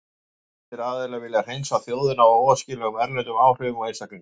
Þessir aðilar vilja hreinsa þjóðina af óæskilegum erlendum áhrifum og einstaklingum.